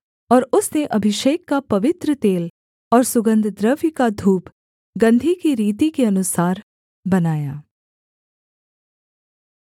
और उसने अभिषेक का पवित्र तेल और सुगन्धद्रव्य का धूप गंधी की रीति के अनुसार बनाया